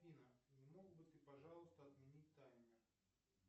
афина не мог бы ты пожалуйста отменить таймер